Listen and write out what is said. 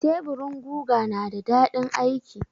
Teburin guga na da daɗin aiki.